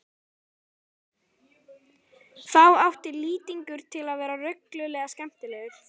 Þá átti Lýtingur til að vera reglulega skemmtilegur.